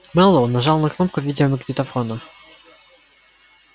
мэллоу нажал на кнопку видеомагнитофона